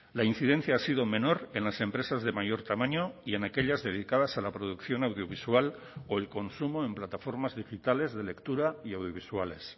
la incidencia ha sido menor en las empresas de mayor tamaño y en aquellas dedicadas a la producción audiovisual o el consumo en plataformas digitales de lectura y audiovisuales